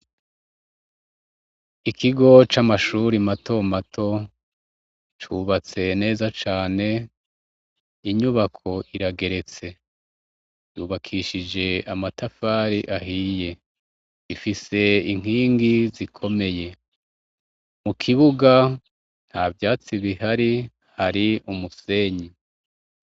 Ikigo c'amashuri matomato cubatse neza cane inyubako irageretse yubakishije amatafari ahiye ifise inkingi zikomeye mu kibuga nta vyatsib bih ari hari umusenyi.